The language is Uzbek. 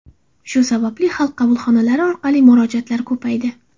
Shu sababli Xalq qabulxonalari orqali murojaatlar ko‘paydi.